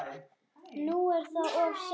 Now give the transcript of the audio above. Nú er það of seint.